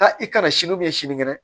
Aa i kana sini sinikɛnɛ